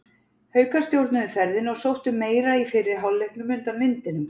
Haukar stjórnuðu ferðinni og sóttu meira í fyrri hálfleiknum undan vindinum.